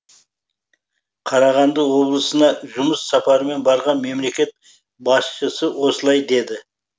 қарағанды облысына жұмыс сапарымен барған мемлекет басшысы осылай деді